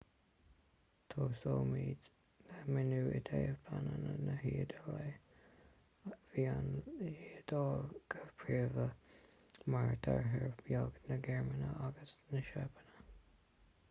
tosóimid le míniú i dtaobh pleananna na hiodáile bhí an iodáil go príomha mar deartháir beag na gearmáine agus na seapáine